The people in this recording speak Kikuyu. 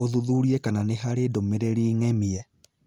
ũthuthurie kana nĩ harĩ ndũmĩrĩri ng'emie